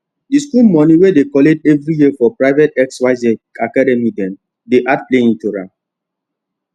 the school money wey dey collect every year for private xyz academy dem dey add playing to am